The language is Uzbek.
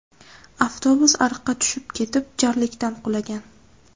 Avtobus ariqqa tushib ketib, jarlikdan qulagan.